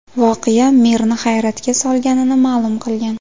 Voqea merni hayratga solganini ma’lum qilgan.